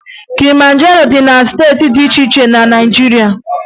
Kilimanjaro dị na steeti dị iche iche na Naịjirịa